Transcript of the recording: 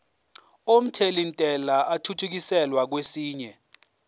omthelintela athuthukiselwa kwesinye